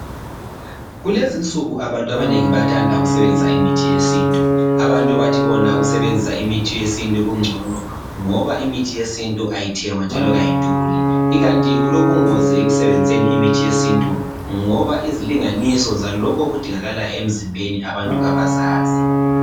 Kulezinsuku abantu abanengi bayathanda ukusebenzisa imithi yesintu. Abantu bathi bona ukusebenzisa imithi yesintu kungcono ngoba imithi yesintu ayithengwa njalo kayiduli. Ikanti kulobungozi ekusebenziseni imithi yesintu ngoba izilinganiso zalokho okudingakalayo emzimbeni abantu kabazazi.